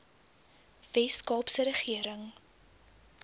wes kaapse regering